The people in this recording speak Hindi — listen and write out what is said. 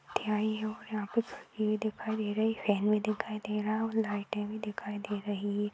और यहाँ पे ये दिखाई दे रही फॅन भी दिखाई दे रहा है और लाइटे भी दिखाई दे रही है।